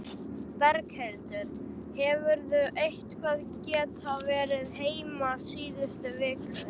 Berghildur: Hefurðu eitthvað geta verið heima síðustu vikur?